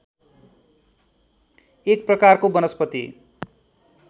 एक प्रकारको वनस्पति